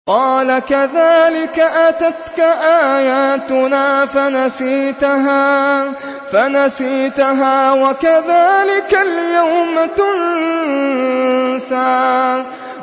قَالَ كَذَٰلِكَ أَتَتْكَ آيَاتُنَا فَنَسِيتَهَا ۖ وَكَذَٰلِكَ الْيَوْمَ تُنسَىٰ